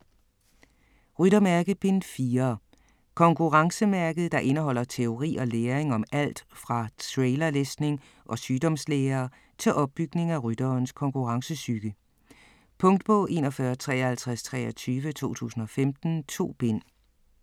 Ryttermærke: Bind 4 Konkurrencemærket, der indeholder teori og læring om alt fra trailerlæsning og sygdomslære til opbygning af rytterens konkurrencepsyke. Punktbog 415323 2015. 2 bind.